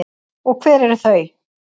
Og hver eru þau?